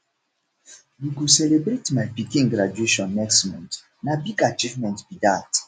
we go celebrate my pikin graduation next month na big achievement be dat